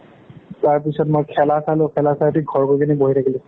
তাৰ পিছত মই খেলা চালোঁ। খেলা চাই উঠি, ঘৰ গৈ কিনে বহি থাকিলোঁ।